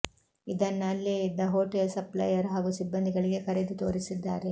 ಇದನ್ನ ಅಲ್ಲೆ ಇದ್ಧ ಹೋಟೆಲ್ ಸಪ್ಲೆಯರ್ ಹಾಗೂ ಸಿಬ್ಬಂದಿಗಳಿಗೆ ಕರೆದು ತೋರಿಸಿದ್ದಾರೆ